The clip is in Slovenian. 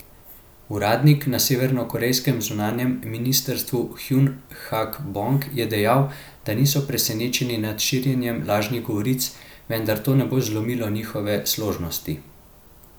Uradnik na severnokorejskem zunanjem ministrstvu Hjun Hak Bong je dejal, da niso presenečeni nad širjenjem lažnih govoric, vendar to ne bo zlomilo njihove složnosti.